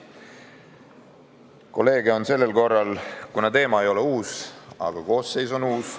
Alla kirjutanud kolleege on sellel korral rohkem, kuna teema ei ole uus, aga koosseis on uus.